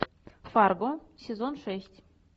фарго сезон шесть